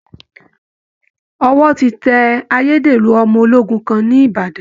Ọwọ́ ti tẹ ayédèrú ọmọ ológun kan ní Ìbàdàn